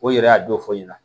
O yɛrɛ y'a don fɔ ɲɛna